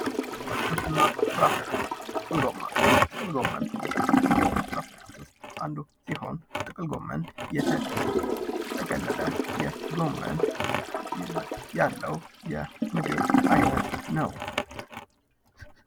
አትክልትና ፍራፍሬዎች ጥቅል ጎመን፤ ጥቅል ጎመን ከአትክልትና ፍራፍሬ ውስጥ አንዱ ሲሆን ጥቅል ጎመን የተጠቀለለ የጎመን አይነት ይዘት ያለው የምግብ ዓይነት ነው።